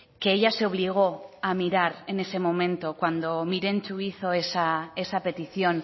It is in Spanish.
que ella se obligó a mirar en ese momento cuando mirentxu hizo esa petición